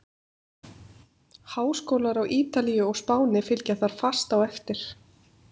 Háskólar á Ítalíu og Spáni fylgja þar fast á eftir.